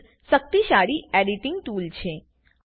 આ એક શક્તિશાળી એડીટીંગ ટૂલ છે